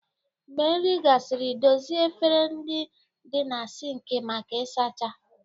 Mgbe nri gasịrị, dozie efere ndị dị na siinki maka ịsacha.